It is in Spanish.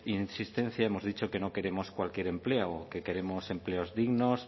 insistencia hemos dicho que no queremos cualquier empleo que queremos empleos dignos